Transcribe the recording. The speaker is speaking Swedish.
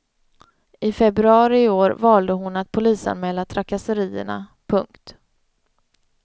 I februari i år valde hon att polisanmäla trakasserierna. punkt